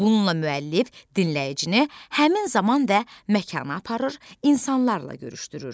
Bununla müəllif dinləyicini həmin zaman və məkana aparır, insanlarla görüşdürür.